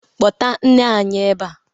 Kpọta nne anyị eba